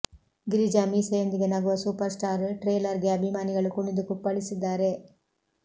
ಗಿರಿಜಾ ಮೀಸೆಯೊಂದಿಗೆ ನಗುವ super star ಟ್ರೇಲರ್ಗೆ ಅಭಿಮಾನಿಗಳು ಕುಣಿದು ಕುಪ್ಪಳಿಸಿದ್ದಾರೆ